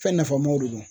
Fɛn nafamaw de don